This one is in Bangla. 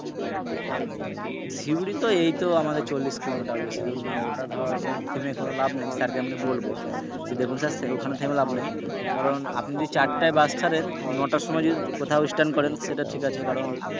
শিউরি তো এই তো আমাদের চল্লিশ কিলোমিটার বেশিদূর না ওটা ধর ওখানে থেমে কোন লাভ নেই। sir কে আমি বলব যে দেখুন sir ওখানে থেমে লাভ নেই কারন আপনি চারটায় বাস ছাড়েন, নটার সময় যদি কোথাও stand করেন সেটা ঠিক আছে। কারণ,